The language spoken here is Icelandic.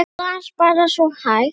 Hún las bara svo hægt.